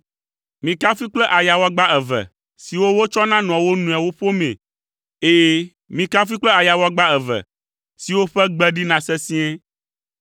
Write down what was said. Mikafui kple ayawagba eve siwo wotsɔna nɔa wo nɔewo ƒomii. Ɛ̃, mikafui kple ayawagba eve siwo ƒe gbe ɖina sesĩe.